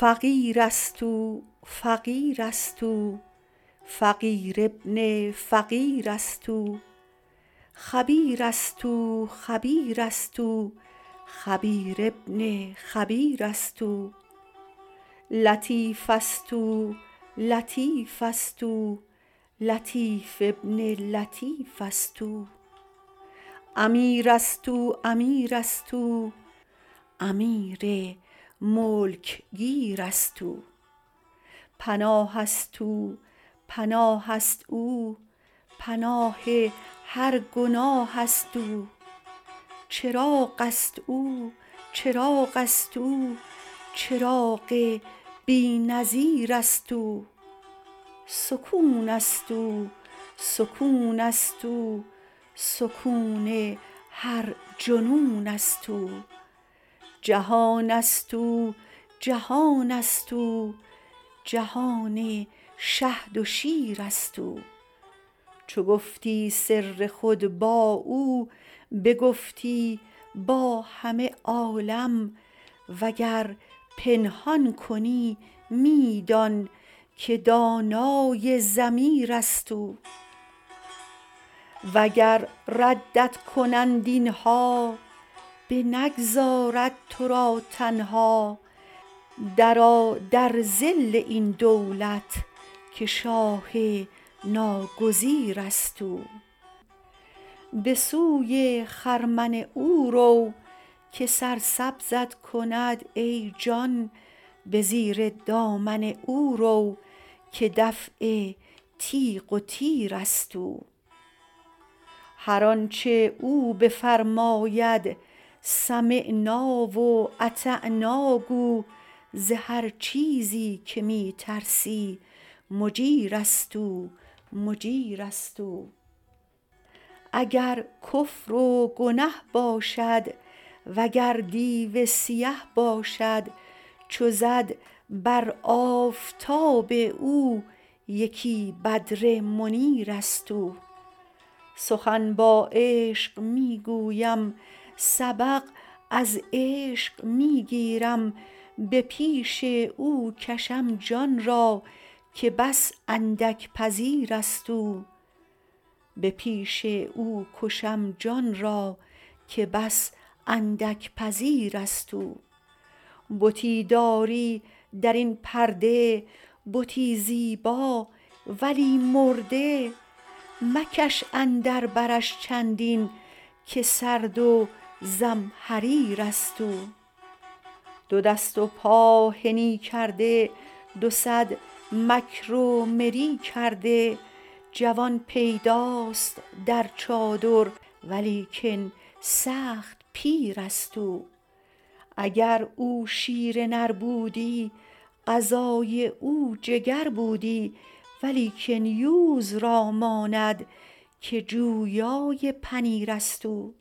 فقیر است او فقیر است او فقیر ابن الفقیر است او خبیر است او خبیر است او خبیر ابن الخبیر است او لطیف است او لطیف است او لطیف ابن اللطیف است او امیر است او امیر است او امیر ملک گیر است او پناه است او پناه است او پناه هر گناه است او چراغ است او چراغ است او چراغ بی نظیر است او سکون است او سکون است او سکون هر جنون است او جهان است او جهان است او جهان شهد و شیر است او چو گفتی سر خود با او بگفتی با همه عالم وگر پنهان کنی می دان که دانای ضمیر است او وگر ردت کنند این ها بنگذارد تو را تنها درآ در ظل این دولت که شاه ناگریز است او به سوی خرمن او رو که سرسبزت کند ای جان به زیر دامن او رو که دفع تیغ و تیر است او هر آنچ او بفرماید سمعنا و اطعنا گو ز هر چیزی که می ترسی مجیر است او مجیر است او اگر کفر و گنه باشد وگر دیو سیه باشد چو زد بر آفتاب او یکی بدر منیر است او سخن با عشق می گویم سبق از عشق می گیرم به پیش او کشم جان را که بس اندک پذیر است او بتی دارد در این پرده بتی زیبا ولی مرده مکش اندر برش چندین که سرد و زمهریر است او دو دست و پا حنی کرده دو صد مکر و مری کرده جوان پیداست در چادر ولیکن سخت پیر است او اگر او شیر نر بودی غذای او جگر بودی ولیکن یوز را ماند که جویای پنیر است او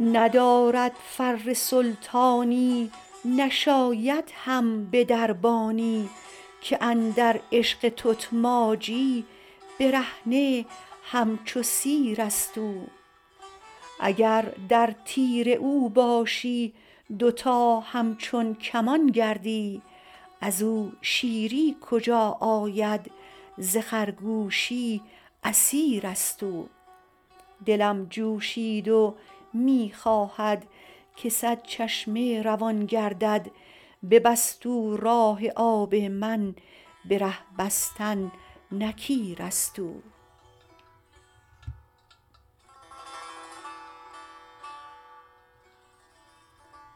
ندارد فر سلطانی نشاید هم به دربانی که اندر عشق تتماجی برهنه همچو سیر است او اگر در تیر او باشی دوتا همچون کمان گردی از او شیری کجا آید ز خرگوشی اسیر است او دلم جوشید و می خواهد که صد چشمه روان گردد ببست او راه آب من به ره بستن نکیر است او